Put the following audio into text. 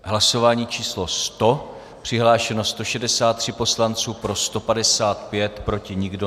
Hlasování číslo 100, přihlášeno 163 poslanců, pro 155, proti nikdo.